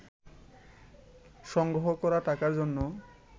সংগ্রহ করা টাকার জন্য